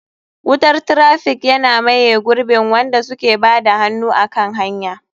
Wutar traffic yana miye gurbin wanda suke bada hannu a kan hanya.